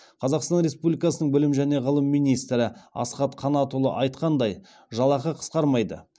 қазақстан республикасының білім және ғылым министрі асхат қанатұлы айтқандай жалақы қысқармайды